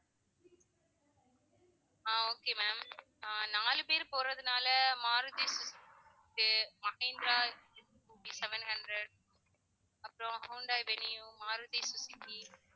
ஆஹ் okay ma'am ah நாலு பேரு போறதுனால மாருதி மகேந்திரா seven hundred அப்புறம் ஹுண்டாய் வெனியூ, மாருதி சுசுகி